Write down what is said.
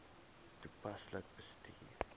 toepaslik bestuur